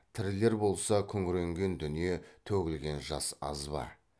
тірілер болса күңіренген дүние төгілген жас аз ба